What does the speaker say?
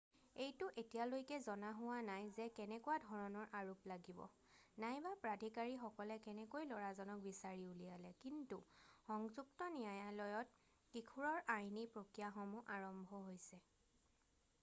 এইটো এতিয়ালৈকে জনা হোৱা নাই যে কেনেকুৱা ধৰণৰ আৰোপ লাগিব নাইবা প্ৰাধিকাৰীসকলে কেনেকৈ লৰাজনক বিচাৰি উলিয়ালে কিন্তু সংযুক্ত ন্যায়ালয়ত কিশোৰৰ আইনী প্ৰক্ৰিয়াসমূহ আৰম্ভ হৈছে